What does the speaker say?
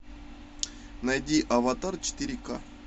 найди аватар четыре ка